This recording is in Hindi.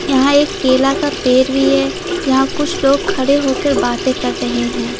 यहां एक केला का पेर भी है जहां कुछ लोग खड़े होकर बातें कर रहे हैं।